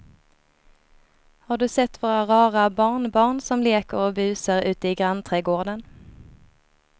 Har du sett våra rara barnbarn som leker och busar ute i grannträdgården!